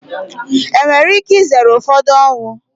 Enwere ike izere ụfọdụ ọnwụ.